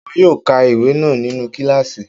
Wọn yóò ka ìwé náà nínu kílààsì